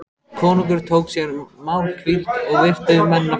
Konungur tók sér málhvíld og virti mennina fyrir sér.